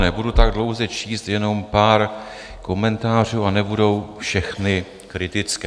Nebudu tak dlouze číst, jenom pár komentářů, a nebudou všechny kritické.